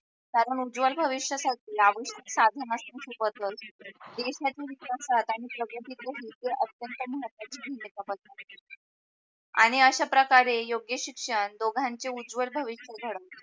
कारण उजवल भविष्यासाठी लागू साधन असन खूप महत्वच असते देशाचे जे हित असतात त्यांनी प्रगतीतव अत्यंत महत्वाची भूमिका बजावली आणि अश्या प्रकारे योग्य शिक्षण दोघांचे उजवल भविष्य घडेल